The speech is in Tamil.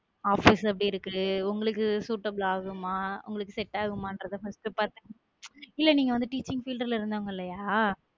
Office எப்படி இருக்கு உங்களுக்கு suitable ஆகுமா உங்களுக்கு செட் ஆகுமா first பார்த்து~ இல்ல நீங்க வந்து teaching field ல இருந்தவங்களயா?